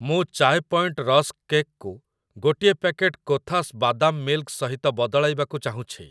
ମୁଁ Chai Point rusk cake କୁ ଗୋଟିଏ ପ୍ୟାକେଟ୍ କୋଥାସ୍ ବାଦାମ୍ ମିଲ୍କ୍ ସହିତ ବଦଳାଇବାକୁ ଚାହୁଁଛି ।